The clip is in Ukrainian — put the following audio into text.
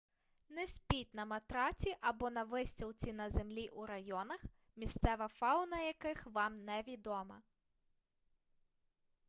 не спіть на матраці або на вистілці на землі у районах місцева фауна яких вам невідома